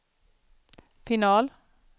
final